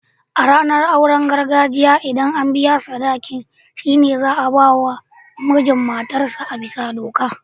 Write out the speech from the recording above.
A ranar auren gargajiya, ldan an biya sadaki'n, shine za'a ba ma na mijin matar sa a'bisa doka.